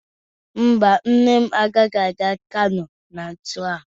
Mba, nne m agaghị aga Kano na nso a.